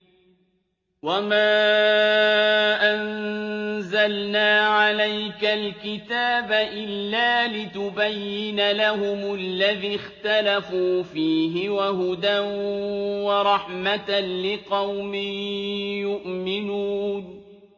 وَمَا أَنزَلْنَا عَلَيْكَ الْكِتَابَ إِلَّا لِتُبَيِّنَ لَهُمُ الَّذِي اخْتَلَفُوا فِيهِ ۙ وَهُدًى وَرَحْمَةً لِّقَوْمٍ يُؤْمِنُونَ